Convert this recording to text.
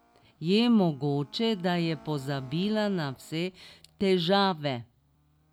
Je mogoče, da je pozabila na vse težave?